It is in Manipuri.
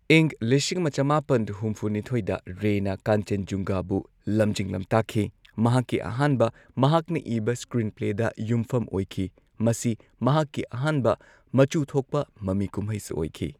ꯏꯪ ꯂꯤꯁꯤꯡ ꯑꯃ ꯆꯃꯥꯄꯟ ꯍꯨꯝꯐꯨ ꯅꯤꯊꯣꯏꯗ ꯔꯦꯅ ꯀꯥꯟꯆꯦꯟꯖꯨꯡꯒꯥꯕꯨ ꯂꯝꯖꯤꯡ ꯂꯝꯇꯥꯛꯈꯤ, ꯃꯍꯥꯛꯀꯤ ꯑꯍꯥꯟꯕ ꯃꯍꯥꯛꯅ ꯏꯕ ꯁꯀ꯭ꯔꯤꯟꯄ꯭ꯂꯦꯗ ꯌꯨꯝꯐꯝ ꯑꯣꯏꯈꯤ꯫ ꯃꯁꯤ ꯃꯍꯥꯛꯀꯤ ꯑꯍꯥꯟꯕ ꯃꯆꯨ ꯊꯣꯛꯄ ꯃꯃꯤ ꯀꯨꯝꯍꯩꯁꯨ ꯑꯣꯏꯈꯤ꯫